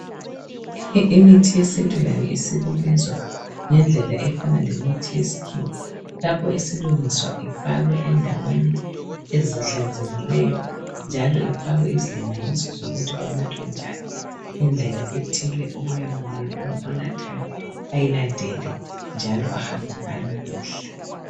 Imithi yesintu layo isilungiswa ngendlela efana lemithi yesikhiwa. Lapho isilungiswa ifakwe endaweni ezihlanzekileyo njalo ifakwe izilinganiso zokuthi inathwa njani indlela ethile okumele oyinathayo ayilandele njalo ahambe ngayo kuhle.